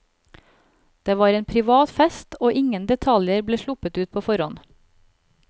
Det var en privat fest og ingen detaljer ble sluppet ut på forhånd.